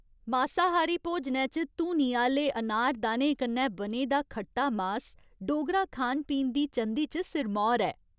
मासाहारी भोजनै च धूनी आह्‌ले अनारदाने कन्नै बने दा खट्टा मास डोगरा खान पीन दी चंदी च सिरमौर ऐ।